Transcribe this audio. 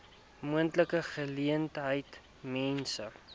moontlike geleentheid mense